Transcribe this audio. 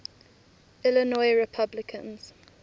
illinois republicans